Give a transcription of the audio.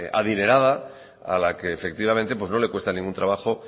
adinerada a la que efectivamente pues no le cuesta ningún trabajo